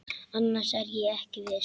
Annars er ég ekki viss.